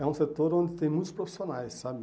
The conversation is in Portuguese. É um setor onde tem muitos profissionais, sabe?